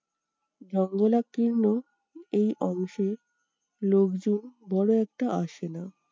ভগ্নলাকীর্ণ এই অংশে লোকজন বড় একটা আসেনা।